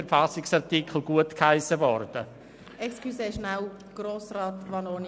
Entschuldigen Sie bitte die Unterbrechung, Herr Grossrat Vanoni.